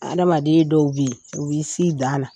Adamadenya dɔw bi yen, u b'i s'i dan la.